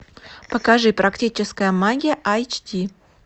покажи практическая магия айч ди